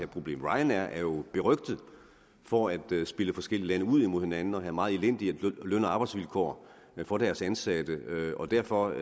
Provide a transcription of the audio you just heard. problem ryanair er jo berygtet for at spille forskellige lande ud imod hinanden og have meget elendig løn og arbejdsvilkår for deres ansatte derfor